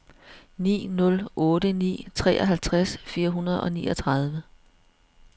ni nul otte ni treoghalvtreds fire hundrede og niogtredive